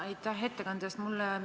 Ja aitäh ettekande eest!